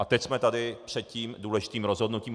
A teď jsme tady před tím důležitým rozhodnutím.